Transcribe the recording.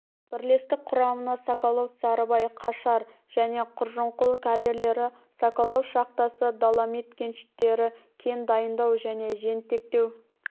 бірлестік құрамына соколов сарыбай қашар және құржұнқұл карьерлері соколов шахтасы доломит кеніштері кен дайындау және жентектеу